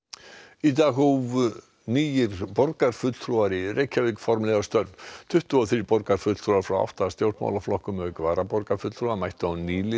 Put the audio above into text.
í dag hófu nýir borgarfulltrúar í Reykjavík formlega störf tuttugu og þrír borgarfulltrúar frá átta stjórnmálaflokkum auk varaborgarfulltrúa mættu á nýliðanámskeið